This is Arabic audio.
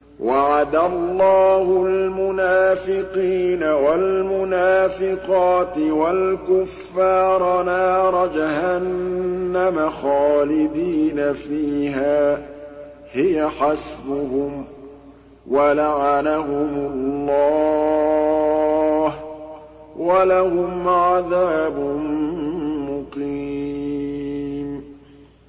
وَعَدَ اللَّهُ الْمُنَافِقِينَ وَالْمُنَافِقَاتِ وَالْكُفَّارَ نَارَ جَهَنَّمَ خَالِدِينَ فِيهَا ۚ هِيَ حَسْبُهُمْ ۚ وَلَعَنَهُمُ اللَّهُ ۖ وَلَهُمْ عَذَابٌ مُّقِيمٌ